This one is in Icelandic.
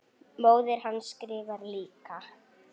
Móðir hans skrifar líka.